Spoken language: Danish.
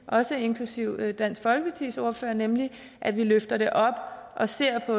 også inklusive dansk folkepartis ordfører nemlig at vi løfter det op og ser på